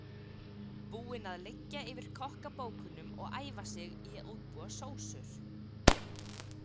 Búinn að liggja yfir kokkabókunum og æfa sig í að útbúa sósur.